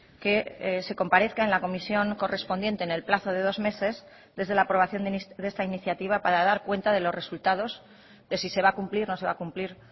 que se comparezca en la comisión correspondiente en el plazo de dos meses desde la aprobación de esta iniciativa para dar cuenta de los resultados de si se va a cumplir no se va a cumplir